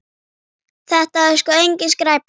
Þetta er sko engin skræpa.